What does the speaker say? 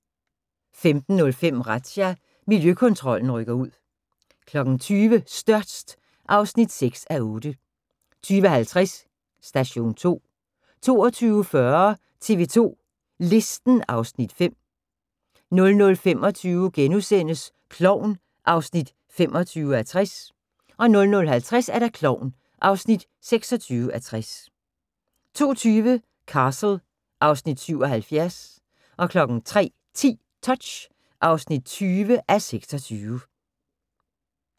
15:05: Razzia – Miljøkontrollen rykker ud 20:00: Størst (6:8) 20:50: Station 2 22:40: TV 2 Listen (Afs. 5) 00:25: Klovn (25:60)* 00:50: Klovn (26:60) 02:20: Castle (Afs. 77) 03:10: Touch (20:26)